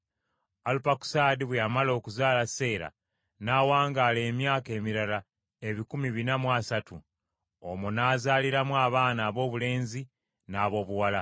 Alupakusaadi bwe yamala okuzaala Seera n’awangaala emyaka emirala ebikumi bina mu esatu, omwo n’azaaliramu abaana aboobulenzi n’aboobuwala.